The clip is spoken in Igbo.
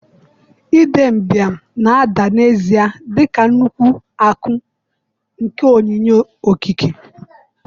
Idembia na-ada n'ezie dị ka nnukwu akụ nke onyinye okike.